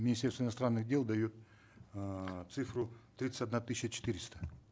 министерство иностранных дел дает эээ цифру тридцать одна тысяча четыреста